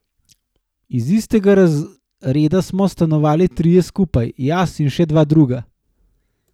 Iz istega razreda smo stanovali trije skupaj, jaz in še dva druga.